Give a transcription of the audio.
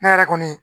Ne yɛrɛ kɔni